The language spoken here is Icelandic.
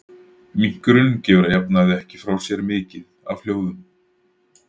Minkurinn gefur að jafnaði ekki frá sér mikið af hljóðum.